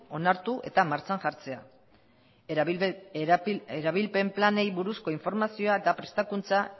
onartu eta martxan jartzean erabilpen planei buruzko informazioa eta prestakuntza